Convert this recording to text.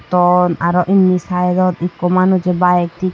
tom aro indi side dot ekko manuje bike thik.